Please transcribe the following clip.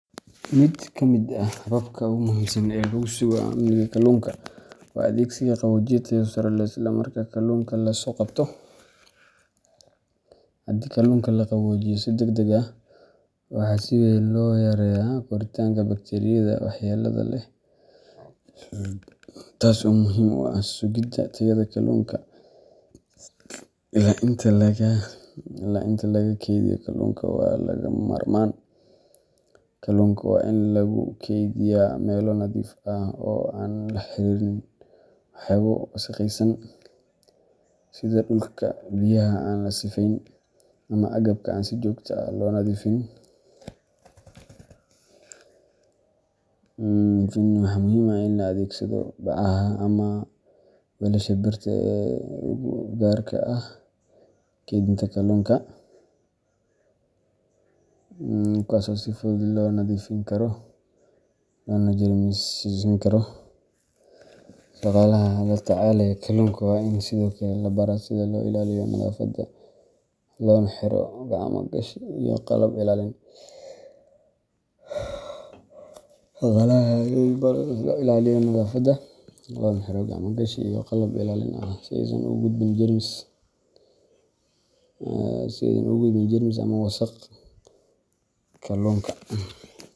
Mid ka mid ah hababka ugu muhiimsan ee lagu sugo amniga kalluunka waa adeegsiga qaboojiye tayo sare leh isla marka kalluunka la soo qabto. Haddii kalluunka la qaboojiyo si degdeg ah, waxa si weyn loo yareeyaa koritaanka bakteeriyada waxyeelada leh, taas oo muhiim u ah sugidda tayada kalluunka illaa inta laga geynaayo suuqyada ama la dhoofinayo. Sidoo kale, nadaafadda goobaha lagu kaydiyo kalluunka waa lagama maarmaan. Kalluunka waa in lagu kaydiyaa meelo nadiif ah oo aan la xiriirin waxyaabo wasakhaysan, sida dhulka, biyaha aan la sifeyn, ama agabka aan si joogto ah loo nadiifin. Waxaa muhiim ah in la adeegsado bacaha ama weelasha birta ah ee u gaar ah keydinta kalluunka, kuwaas oo si fudud loo nadiifin karo loona jeermisin karo. Shaqaalaha la tacaalaya kalluunka waa in sidoo kale la baraa sida loo ilaaliyo nadaafadda, loona xiro gacmo-gashi iyo qalab ilaalin ah si aysan ugu gudbin jeermis ama wasakh kalluunka.